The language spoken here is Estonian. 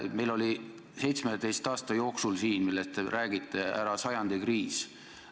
Meil oli selle 17 aasta jooksul, millest te räägite, ära sajandi kriis.